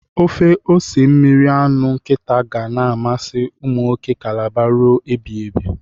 Ofe ose mmiri anụ nkịta ga na-amasị umụnwoke kalaba rue ebighibi.